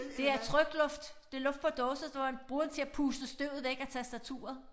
Det er trykluft det luft på dåse der hvor man bruger til at puste støvet væk af tastaturet